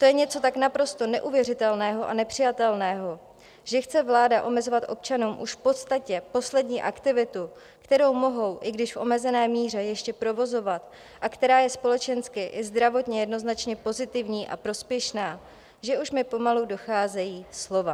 To je něco tak naprosto neuvěřitelného a nepřijatelného, že chce vláda omezovat občanům už v podstatě poslední aktivitu, kterou mohou, i když v omezené míře, ještě provozovat a která je společensky i zdravotně jednoznačně pozitivní a prospěšná, že už mi pomalu docházejí slova.